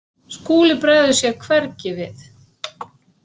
Skúli bregður sér hvergi við.